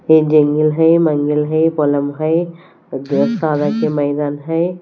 ये जंगल है मंगल है मैदान है।